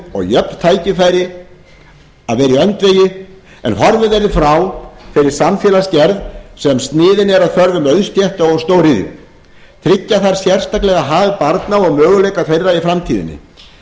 og jöfn tækifæri að vera í öndvegi en horfið verði frá þeirri samfélagsgerð sem sniðin er að þörfum auðstétta og stóriðju tryggja þarf sérstaklega hag barna og möguleika þeirra í framtíðinni